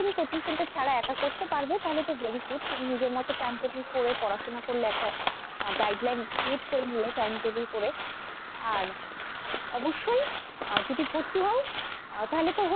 তুমি coaching centre ছাড়া এক করতে পারবে তাহলে তো very good তুমি নিজের মতো time table করে পড়াশোনা করলে একটা guideline create করে নিলে time table করে আর অবশ্যই আহ যদি ভর্তি হও আহ তাহলে তো,